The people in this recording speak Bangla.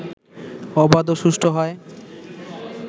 অবাধ এবং সুষ্ঠু হয়